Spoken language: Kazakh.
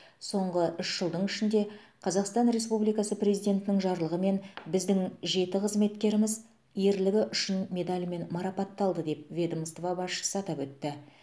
соңғы үш жылдың ішінде қазақстан республикасы президентінің жарлығымен біздің жеті қызметкеріміз ерлігі үшін медалімен марапатталды деп ведомство басшысы атап өтті